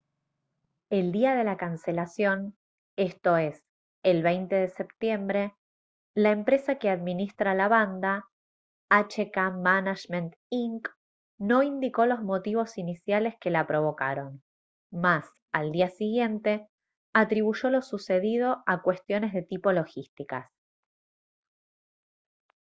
el día de la cancelación esto es el 20 de septiembre la empresa que administra la banda hk management inc no indicó los motivos iniciales que la provocaron mas al día siguiente atribuyó lo sucedido a cuestiones de tipo logísticas